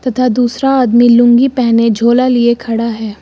तथा दूसरा आदमी लूंगी पहने झोला लिए खड़ा है।